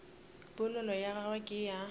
polelo ya gagwe ke ya